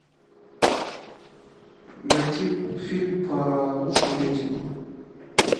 найти фильм по лучшему рейтингу